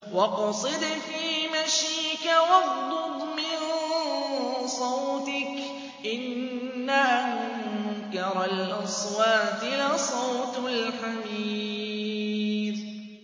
وَاقْصِدْ فِي مَشْيِكَ وَاغْضُضْ مِن صَوْتِكَ ۚ إِنَّ أَنكَرَ الْأَصْوَاتِ لَصَوْتُ الْحَمِيرِ